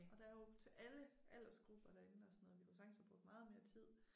Og der jo til alle aldersgrupper derinde og sådan noget vi kunne sagtens have brugt meget mere tid